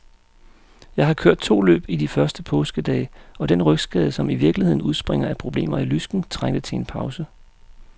Jeg har kørt to løb i de første påskedage, og den rygskade, som i virkeligheden udspringer af problemer i lysken, trængte til en pause.